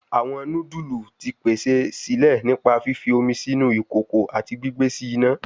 Awọn nudulu ti pese sile nipa fifi omi sinu ikoko ati gbigbe si ina